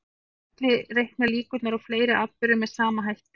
Við getum einnig reiknað líkurnar á fleiri atburðum með sama hætti.